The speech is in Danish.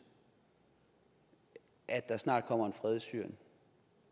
at der snart kommer en fred i syrien